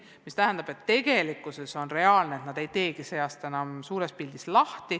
See tähendab, et tegelikult on reaalne, et nad ei teegi sel õppeaastal asutust enam suures pildis lahti.